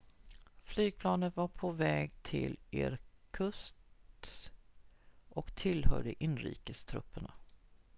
flygplanet var på väg till irkutsk och tillhörde inrikestrupperna